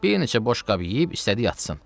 Bir neçə boş qab yeyib istədi yatsın.